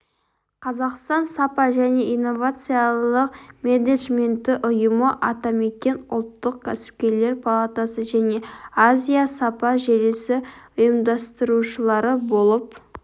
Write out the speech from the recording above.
қазақстан сапа және инновациялық менеджменті ұйымы атамекен ұлттық кәсіпкерлер палатасы және азия сапа желісі ұйымдастырушылары болып